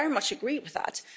I very much agree with that.